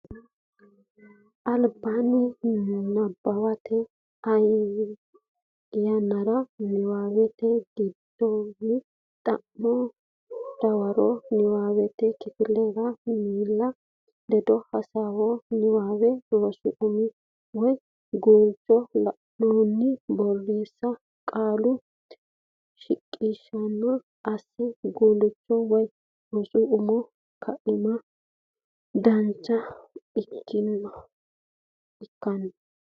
albaanni nabbawate yannaranna nabbawate gedensaanni xa manna dawara Niwaawennire kifilete miilla ledo hasaawa Niwaawe rosu umo woy guulcho la annohunni borreessa Qaalu shiqishsha assa Guulchu woy rosu umi kaiminni dhagge kiironna.